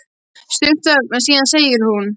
Stutt þögn en síðan segir hún: